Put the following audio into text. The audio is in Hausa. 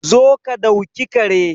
Zo ka dauki Kare